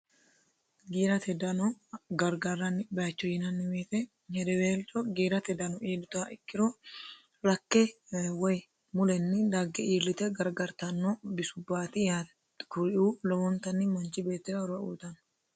giirate dano gargarranni bayiicho yinanni woyiite hedeweelcho giirate dano iillituha ikkiro rakke woy mulenni dagge iillite gargartanno bisubbaati yaate kuri"uu lowoontanni manchi beettira horo uuyiitanno.